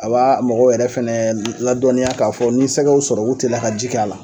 A b'a mɔgɔw yɛrɛ fɛnɛ ladɔnya k'a fɔ ni sɛgɛw sɔrɔ u k'u teliya ka ji k'a la.